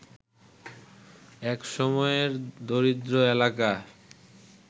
এক সময়ের দরিদ্র এলাকা